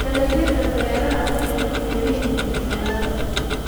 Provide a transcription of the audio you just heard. Dalagyada baradhada waxay ku xiran yihiin cimilada.